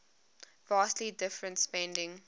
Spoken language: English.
vastly different spending